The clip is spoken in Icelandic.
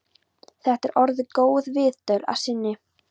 Þetta er orðin góð viðdvöl að sinni.